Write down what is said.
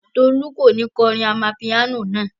Tolú kò ní kọ orin amapiano náà.